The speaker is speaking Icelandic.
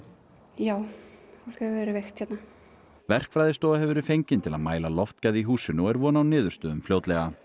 já fólk hefur verið veikt hérna verkfræðistofa hefur verið fengin til að mæla loftgæði í húsinu og er von á niðurstöðum fljótlega